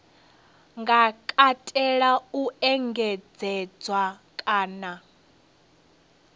nga katela u engedzedzwa kana